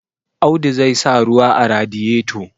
Audu zai sa ruwa a radiyeto